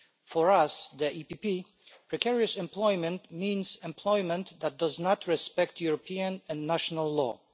For us, the EPP Group, precarious employment means employment that does not respect European and national law.